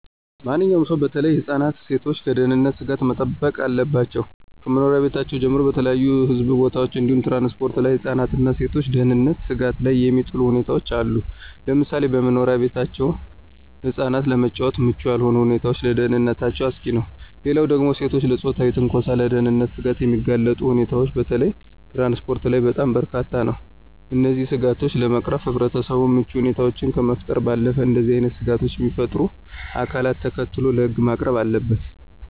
ማንኛውም ሰው በተለይ ህፃናት እና ሴቶች ከደህንነት ስጋቶች መጠበቅ አለባቸው። ከመኖሪያ ቤታችን ጀምሮ በተለያዩ ህዝብ ቦታዎች እንዲሁም ትራንስፖርት ላይ የህፃናትን እና የሴቶችን ደህንነት ስጋት ላይ የሚጥሉ ሁኔታዎች አሉ፤ ለምሳሌ በመኖሪያ ቤታችን ህፃናት ለመጫወት ምቹ ያልሆኑ ሁኔታዎች ለደህንነታቸው አስጊ ነው። ሌላው ደግሞ ሴቶችን ለፆታዊ ትንኮሳና ለደህንነት ስጋት የሚያጋልጡ ሁኔታዎች በተለይ ትራንስፖርት ላይ በጣም በርካታ ነው። እነዚህን ስጋቶች ለመቅረፍ ህብረተሰቡ ምቹ ሁኔታዎችን ከመፍጠር ባለፈ እንደዚህ አይነት ስጋቶችን የሚፈጥሩ አካላትን ተከታትሎ ለህግ ማቅረብ አለበት።